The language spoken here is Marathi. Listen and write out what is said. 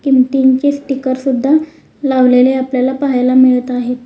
किमतीचे स्टिकर सुद्धा लावलेले आपल्याला पाहायला मिळत आहेत.